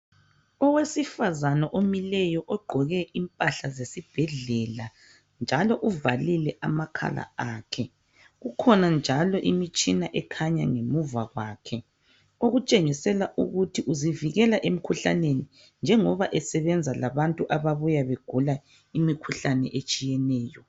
Owesifazana omileyo ogqoke impahla zesibhedlela njalo uvalile amakhala akhe. Kukhona njalo imitshina ekhanya ngemuva kwakhe okutshengisela ukuthi uzivikela emikhuhlaneni njengoba esesebenza labantu ababuya begula imikhuhlane etshiyeneyo.